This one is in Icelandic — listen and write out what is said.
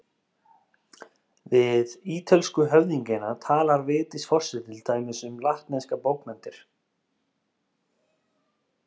Við ítölsku höfðingjana talar Vigdís forseti til dæmis um latneskar bókmenntir.